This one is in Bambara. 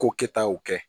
Ko kɛta y'o kɛ